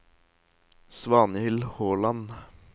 Svanhild Håland